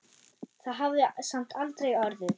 Það hafði samt aldrei orðið.